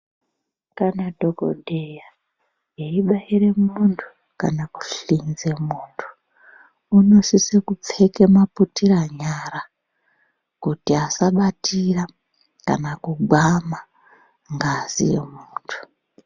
Kana dhokodheya eibaira muntu kana kuhlinze muntu unosisa kupfeka mabutira nyara kuti vasabatira kana kugwama ngazi yemuntu.